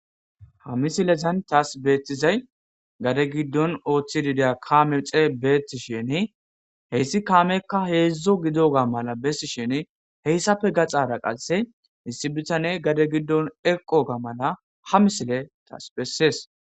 ha misilezan taas beettizay gade giddon ooththi dida kaame xee beeti shene heyssi kaamekka heedzdzo gido ga mala bessi shene heyssafe gaxara qasse hissi bitane gade giddon eqo ga mala ha misile taas bessees